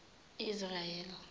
israel